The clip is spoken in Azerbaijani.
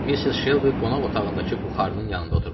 Mister Şelbi qonaq otağındakı buxarının yanında oturmuşdu.